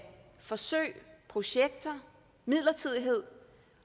forsøg projekter og midlertidighed